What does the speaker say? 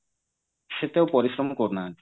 ସେତେ ଆଉ ପରିଶ୍ରମ କରୁନାହାନ୍ତି